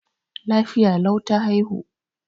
Lafiya lau ta haihu.